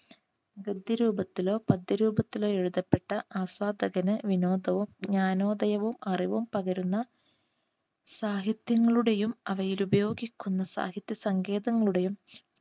ഗദ്യ രൂപത്തിലോ പദ്യ രൂപത്തിലോ എഴുതപ്പെട്ട ആസ്വാദകന് വിനോദവും ജ്ഞാനോദയവും അറിവും പകരുന്ന സാഹിത്യങ്ങളുടെയും അവയിൽ ഉപയോഗിക്കുന്ന സാഹിത്യ സംഗീതങ്ങളുടെയും